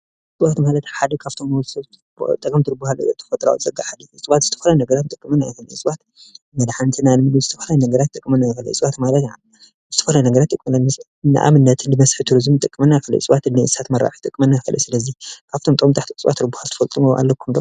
እፅዋት ማለት ሓደ ካብቶም ንወድሰብ ዝጠቅሙ ኮይኖም ከም መራብሒ እንስሳ፣ ፍልፍል መስሕብ ፣ ከምኡ እውን ንመንበሪ ንምስራሕ ይጠቅሙ። እስኪ ጥቅሚ እፅዋት ዘርዝሩ?